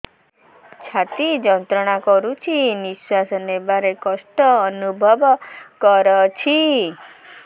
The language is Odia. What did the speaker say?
ଛାତି ଯନ୍ତ୍ରଣା କରୁଛି ନିଶ୍ୱାସ ନେବାରେ କଷ୍ଟ ଅନୁଭବ କରୁଛି